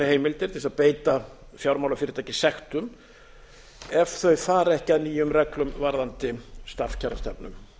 heimildir til þess að beita fjármálafyrirtæki sektum ef þau fara ekki að nýjum reglum varðandi starfskjarastefnu